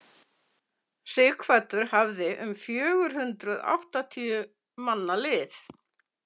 Sighvatur hafði um fjögur hundruð áttatíu manna lið.